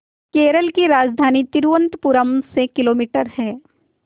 केरल की राजधानी तिरुवनंतपुरम से किलोमीटर है